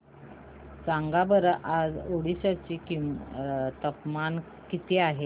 सांगा बरं आज ओरिसा चे तापमान किती आहे